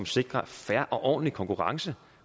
sikrer en fair og ordentlig konkurrence